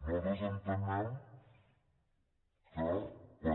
nosaltres entenem que patim